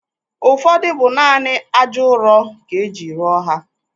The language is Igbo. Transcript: Ụfọdụ bụ naanị ájá ụrọ ka e ji rụọ ha.